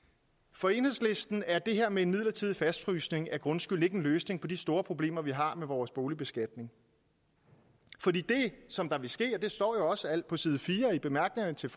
for enhedslisten er det her med en midlertidig fastfrysning af grundskylden ikke en løsning på de store problemer vi har med vores boligbeskatning for det som vil ske og det står også på side fire i bemærkningerne til